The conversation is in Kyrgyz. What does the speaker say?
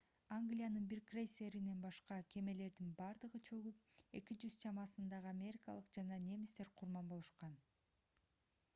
англиянын бир крейсеринен башка кемелердин бардыгы чөгүп 200 чамасындагы америкалык жана немистер курман болушкан